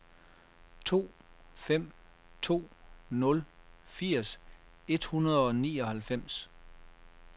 to fem to nul firs et hundrede og nioghalvfems